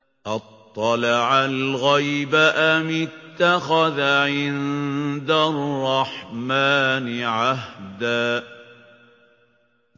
أَطَّلَعَ الْغَيْبَ أَمِ اتَّخَذَ عِندَ الرَّحْمَٰنِ عَهْدًا